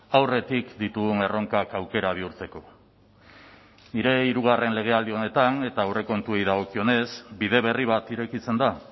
aurretik ditugun erronkak aukera bihurtzeko nire hirugarren legealdi honetan eta aurrekontuei dagokionez bide berri bat irekitzen da